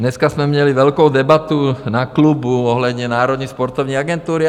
Dneska jsme měli velkou debatu na klubu ohledně Národní sportovní agentury.